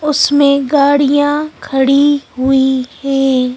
उसमें गाड़ियां खड़ी हुई हैं।